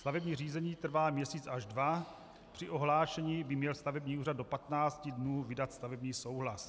Stavební řízení trvá měsíc až dva, při ohlášení by měl stavební úřad do 15 dnů vydat stavební souhlas.